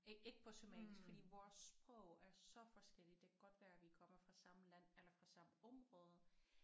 Ikke ikke på somalisk fordi vores sprog er så forskellige det kan godt være vi kommer fra samme land eller fra samme område